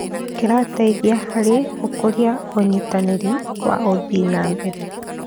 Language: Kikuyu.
Kĩrateithia harĩ gũkũria ũnyitanĩri wa ũthii wa na mbere.